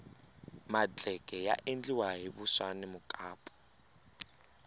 madleke ya endliwa hi vuswa na mukapu